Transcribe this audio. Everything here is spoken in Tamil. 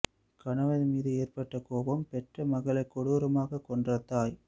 கணவன் மீது ஏற்பட்ட கோபம் பெற்ற மகள்களை கொடூரமாக கொன்ற தாய்